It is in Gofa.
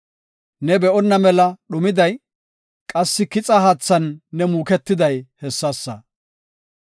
Ne be7onna mela dhumiday, qassi kixa haathan ne muuketiday hessasa.